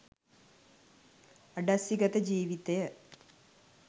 අඩස්සිගත ජීවිතය